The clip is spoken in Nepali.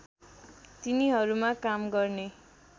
तिनीहरूमा काम गर्ने